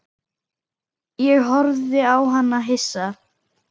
Ég horfði á hann hissa.